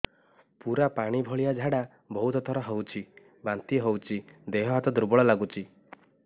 ପୁରା ପାଣି ଭଳିଆ ଝାଡା ବହୁତ ଥର ହଉଛି ବାନ୍ତି ହଉଚି ଦେହ ହାତ ଦୁର୍ବଳ ଲାଗୁଚି